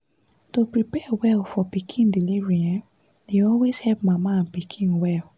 to prepare well for pikin delivery[um]dey always help mama and pikin well